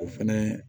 O fɛnɛ